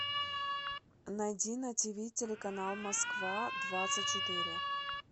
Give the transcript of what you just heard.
найди на тв телеканал москва двадцать четыре